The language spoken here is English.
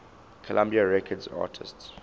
columbia records artists